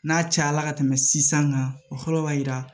N'a cayala ka tɛmɛ sisan kan o fɔlɔ b'a yira